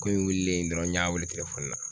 Ko in wililen dɔrɔn n y'a wele na.